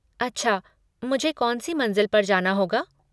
अच्छा मुझे कौन सी मंज़िल पर जाना होगा।